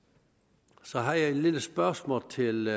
så jeg har et lille spørgsmål til